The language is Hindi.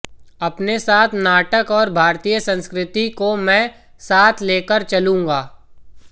अपने साथ नाटक और भारतीय संस्कृति को मैं साथ लेकर चलूंगा